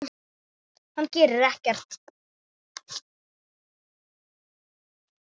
Hann gerir ekkert.